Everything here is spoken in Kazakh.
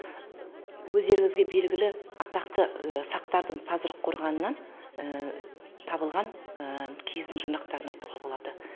өздеріңізге белгілі атақты сақтардың тазырық қорғанынан табылған киіздің жұрнақтарын айтуға болады